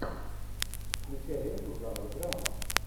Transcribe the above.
включай ленту жанр драма